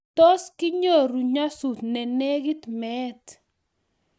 tos kinyoru nyasut ne negit meet